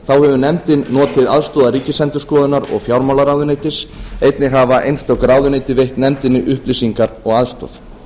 hefur nefndin notið aðstoðar ríkisendurskoðunar og fjármálaráðuneytis einnig hafa einstök ráðuneyti veitt nefndinni upplýsingar og aðstoð